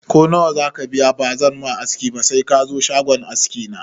Ko nawa zaka biya ba zan ma aski ba se kazo shagon aski na